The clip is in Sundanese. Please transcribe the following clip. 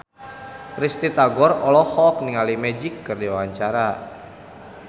Risty Tagor olohok ningali Magic keur diwawancara